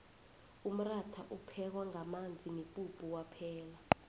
umratha uphekwa ngamanzi nepuphu kwaphela